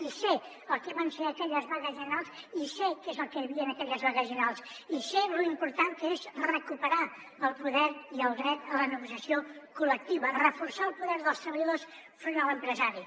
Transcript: i sé el que van ser aquelles vagues generals i sé que és el que hi havia en aquelles vagues generals i sé lo important que és recuperar el poder i el dret a la negociació col·lectiva reforçar el poder dels treballadors enfront de l’empresari